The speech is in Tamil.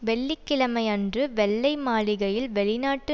வெள்ளி கிழமையன்று வெள்ளை மாளிகையில் வெளிநாட்டு